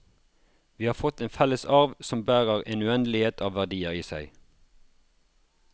Vi har fått en felles arv som bærer en uendelighet av verdier i seg.